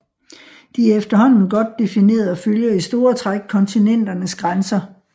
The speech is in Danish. De er efterhånden godt defineret og følger i store træk kontinenternes grænser